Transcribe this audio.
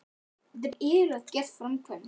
Þetta er iðulega gert í framkvæmd.